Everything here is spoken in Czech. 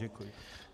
Děkuji.